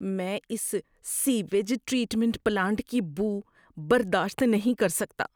میں اس sewage treatment plant کی بو برداشت نہیں کر سکتا۔